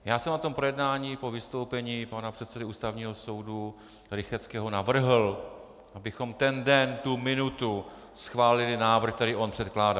Já jsem na tom projednání po vystoupení pana předsedy Ústavního soudu Rychetského navrhl, abychom ten den, tu minutu schválili návrh, který on předkládá.